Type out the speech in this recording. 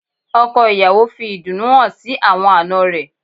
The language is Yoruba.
Ọkọ̀ ìyàwó fi ìdùnnú hàn sí àwọn àná rẹ̀